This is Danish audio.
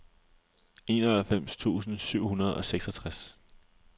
enoghalvfems tusind syv hundrede og seksogtres